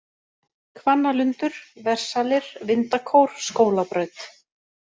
Hvannalundur, Versalir, Vindakór, Skólabraut